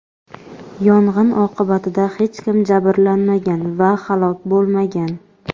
Yong‘in oqibatida hech kim jabrlanmagan va halok bo‘lmagan.